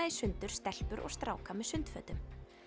í sundur stelpur og stráka með sundfötum